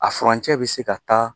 A furancɛ bɛ se ka taa